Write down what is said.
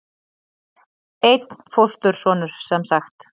Einn fóstursonur semsagt.